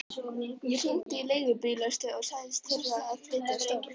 Ég hringdi í leigubílastöð og sagðist þurfa að flytja stól.